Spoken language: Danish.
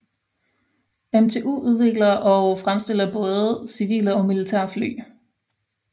MTU udvikler og fremstiller til både civile og militære fly